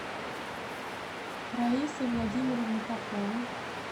раисы владимировны поповой